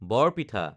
বৰ পিঠা